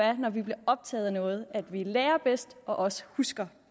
når vi bliver optaget af noget at vi lærer bedst og også husker